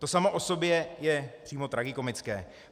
To samo o sobě je přímo tragikomické.